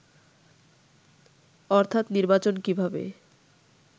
অর্থাৎ নির্বাচন কিভাবে